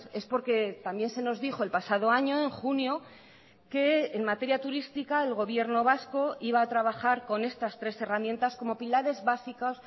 es porque también se nos dijo el pasado año en junio que en materia turística el gobierno vasco iba a trabajar con estas tres herramientas como pilares básicos